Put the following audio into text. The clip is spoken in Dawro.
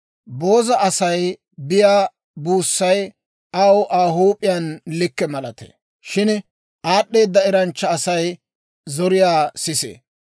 Booza Asay biyaa buussay aw Aa huup'iyaan likke malatee; shin aad'd'eeda eranchcha Asay zoriyaa sisee.